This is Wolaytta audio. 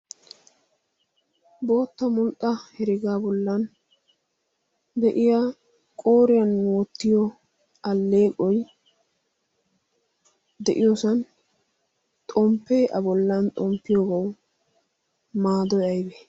bootta mulxxa herigaa bollan de'iya qooriyan oottiyo alleeqoi de'iyoosan xomppee a bollan xomppiyoogau maadoy aybe?